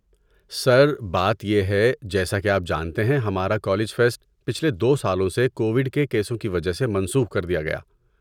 سر، بات یہ ہے، جیسا کہ آپ جانتے ہیں ہمارا کالج فیسٹ پچھلے دو سالوں سے کوویڈ کے کیسوں کی وجہ سے منسوخ کر دیا گیا